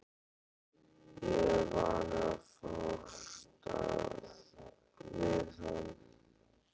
Ég er vanur að fást við hann!